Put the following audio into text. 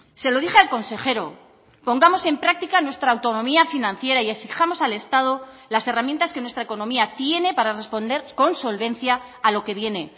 se lo dije al consejero pongamos en práctica nuestra autonomía financiera y exijamos al estado las herramientas que nuestra economía tiene para responder con solvencia a lo que viene